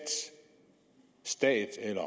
stat eller